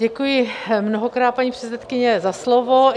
Děkuji mnohokrát, paní předsedkyně, za slovo.